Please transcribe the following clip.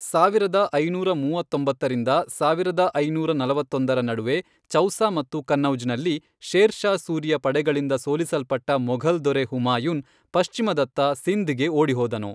ಸಾವಿರದ ಐನೂರ ಮೂವತ್ತೊಂಬತ್ತರಿಂದ ಸಾವಿರದ ಐನೂರ ನಲವತ್ತೊಂದರ ನಡುವೆ ಚೌಸಾ ಮತ್ತು ಕನ್ನೌಜ್ ನಲ್ಲಿ ಶೇರ್ ಶಾ ಸೂರಿಯ ಪಡೆಗಳಿಂದ ಸೋಲಿಸಲ್ಪಟ್ಟ ಮೊಘಲ್ ದೊರೆ ಹುಮಾಯೂನ್, ಪಶ್ಚಿಮದತ್ತ ಸಿಂಧ್ ಗೆ ಓಡಿಹೋದನು.